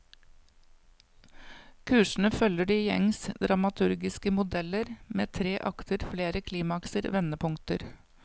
Kursene følger de gjengse dramaturgiske modeller, med tre akter, flere klimakser, vendepunkter.